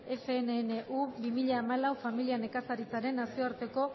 ffnu bi mila hamalau familia nekazaritzaren nazioarteko